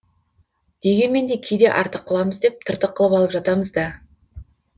дегенмен де кейде артық қыламыз деп тыртық қылып алып жатамыз да